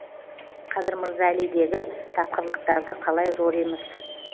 қадыр мырза әлидегі тапқырлықтарды қалай жоримыз